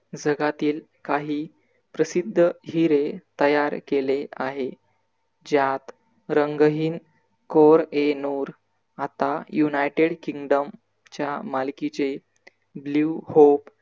जगातील काही प्रसिद्ध हिरे तयार केले आहे. ज्यात रंगहीन कोर ए नुर आता united kingdom च्या मालकीचे BLUE HOP